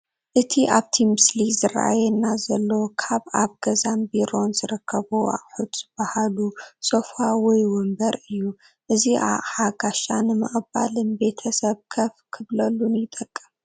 እቲ ኣብቲ ምስሊ ዝራኣየና ዘሎ ካብ ኣብ ገዛን ቢሮን ዝርከቡ ኣቑሑት ዝባሃሉ ሶፋ/ወንበር እዩ፡፡ እዚ ኣቕሓ ጋሻ ንምቕባልን ቤተሰብ ከፍ ክብለሉን ይጠቅም፡፡